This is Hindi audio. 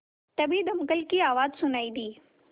तभी दमकल की आवाज़ सुनाई दी